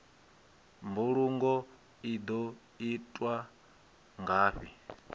mbulungo i ḓo itwa ngafhi